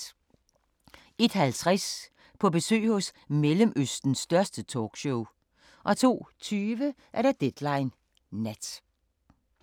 01:50: På besøg hos Mellemøstens største talkshow 02:20: Deadline Nat